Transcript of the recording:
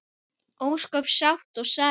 Ósköp sátt og sæl.